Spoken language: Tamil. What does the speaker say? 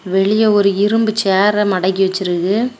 வெளிய ஒரு இரும்பு சேர மடக்கி வெச்சிருக்கு.